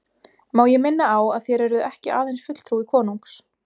Má ég minna á að þér eruð ekki aðeins fulltrúi konungs.